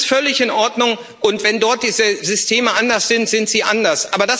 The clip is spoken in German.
das ist völlig in Ordnung. Und wenn dort die Systeme anders sind, sind sie anders.